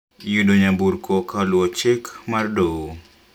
Yudo nyamburko ka oluwo amri mar doho